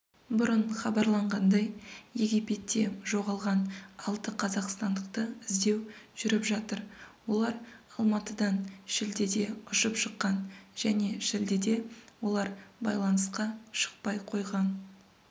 бұрын хабарланғандай египетте жоғалған алты қазақстандықты іздеу жүріп жатыр олар алматыдан шілдеде ұшып шыққан және шілдеде олар байланысқа шықпай қойған